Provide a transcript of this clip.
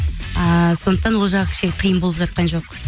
ыыы сондықтан ол жағы кішкене қиын болып жатқан жоқ